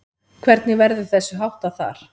Hvernig verður þessu háttað þar?